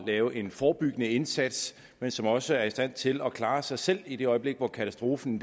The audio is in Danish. lave en forebyggende indsats men som også er i stand til at klare sig selv i det øjeblik hvor katastrofen